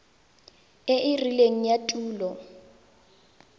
e e rileng ya tulo